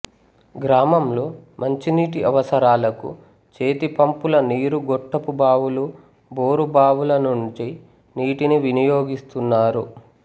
గ్రామంలో మంచి నీటి అవసరాలకు చేతిపంపుల నీరుగొట్టపు బావులు బోరు బావుల నుంచి నీటిని వినియోగిస్తున్నారు